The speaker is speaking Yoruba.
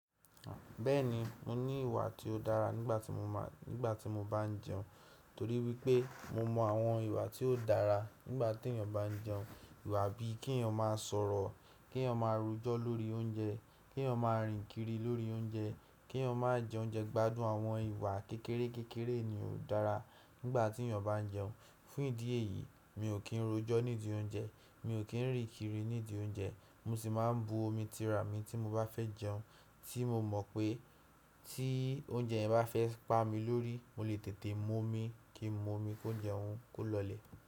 Bẹ́ẹ̀ni, mo ní ìwà tí ó dára nígbà tí mo máa, nígbà tí mo bá jẹun, torí wípé mo mọ àwọn ìwà tí ó dára nígbà tí èèyàn bá jẹun. Ìwà bíi ke èèyàn máa sọ̀rọ̀, ke èèyàn máa rojọ́ lórí oúnjẹ, ke èèyàn máa rìn kiri lórí oúnjẹ, ke èèyàn máa jẹ oúnjẹ, gbádùn àwọn ìwà kékeré kékeré ni ó dára nígbà tí èèyàn bá jẹun. Fún ìdí èyí, mi ò kí n rojọ́ nídi oúnjẹ, mi ò kí n rì kiri nídi oúnjẹ, mo sì máa bu omi tira mi tí mo bá fẹ́ jẹun, tí mo mọ̀ pé tí oúnjẹ yẹn bá fẹ́ pa mi lórí, mo lè tètè mú omi, kí n mú omi, kó jẹun kó lọlẹ̀